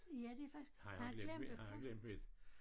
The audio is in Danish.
Ja det faktisk har han glemt at komme